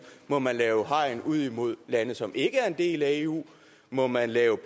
må man lave hegn ud mod lande som ikke er en del af eu må man lave